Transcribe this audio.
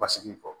Basigi kɔ